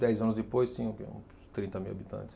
Dez anos depois, tinha o quê, uns trinta mil habitantes.